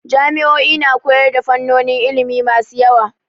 Jami'o'i na koyar da fannonin ilimi masu yawa.